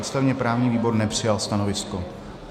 Ústavně-právní výbor nepřijal stanovisko.